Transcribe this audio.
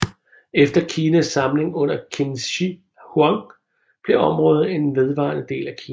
Efter Kinas samling under Qin Shi Huang blev området en vedvarende del af Kina